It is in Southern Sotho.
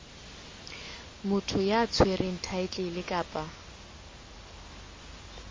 motho ya tshwereng thaetlele kapa